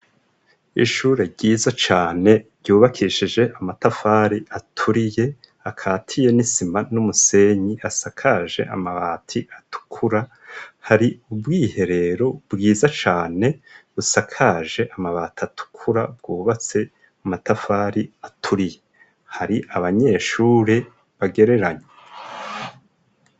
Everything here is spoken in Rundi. Ishure ryiza cane ryubakishije amatafari aturiye akatiye n'isima n'umusenyi asakaje amabati atukura hari ubwiherero bwiza cane busakaje amabati atukura bwubatse umatafari aturiye. Hari abanyeshure bagereranye.